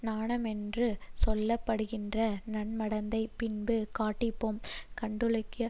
நாணமென்று சொல்ல படுகின்ற நன்மடந்தை பின்பு காட்டிப்போம் கள்ளுண்டலாகிய